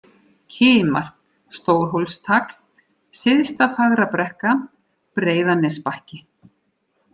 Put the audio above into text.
Kimar, Stórhólstagl, Syðsta-Fagrabrekka, Breiðanesbakki